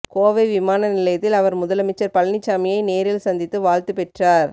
கோவை விமான நிலையத்தில் அவர் முதலமைச்சர் பழனிசாமியை நேரில் சந்தித்து வாழ்த்து பெற்றார்